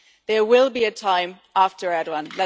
There will be a time after Erdoğan.